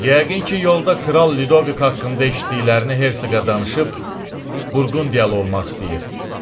Yəqin ki, yolda Kral Ludovik haqqında eşitdiklərini Hersiqa danışıb, Burqundiyalı olmaq istəyir.